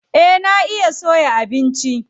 Eh na iya soya abinci.